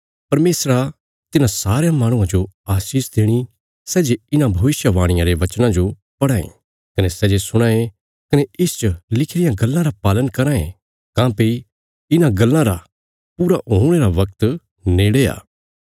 परमेशरा तिन्हां सारयां माहणुआं जो आशीष देणी सै जे इन्हां भविष्यवाणियां रे वचनां जो पढ़ां ये कने सै जे सुणां ये कने इसच लिखी रियां गल्लां रा पालन कराँ ये काँह्भई इन्हां गल्लां रा पूरा हुणे रा बगत नेड़े आ